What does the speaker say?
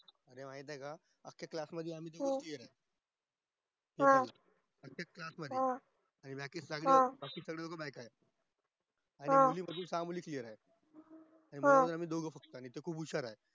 तुला माहित ये का आमच्या class मध्ये आम्ही तिघं ये अं एकाच मध्ये exactly साडे नऊ आणि मुली मध्ये सहा मुली clear येत आणि मुलं मध्ये आम्ही दोगं आणि ते खूप हुशार आहे